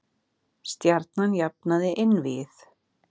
Stjarnan jafnaði einvígið